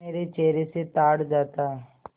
मेरे चेहरे से ताड़ जाता